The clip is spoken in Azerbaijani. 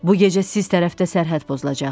Bu gecə siz tərəfdə sərhəd pozulacaq.